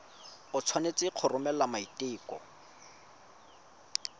o tshwanetse go romela maiteko